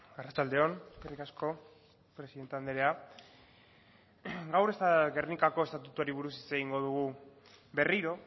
arratsalde on eskerrik asko presidente andrea gaur gernikako estatutuari buruz hitz egingo dugu berriro